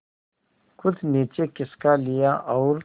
कुछ नीचे खिसका लिया और